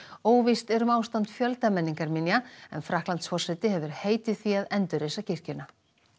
óvíst er um ástand fjölda menningarminja en Frakklandsforseti hefur heitið því að endurreisa kirkjuna